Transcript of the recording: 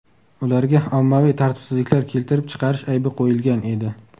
Ularga ommaviy tartibsizliklar keltirib chiqarish aybi qo‘yilgan edi.